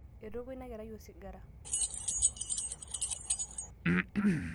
etooko ina kerai osigara